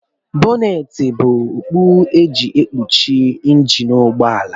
Bọneetị bụ okpu e ji ekpuchi njini ụgbọala